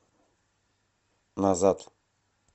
назад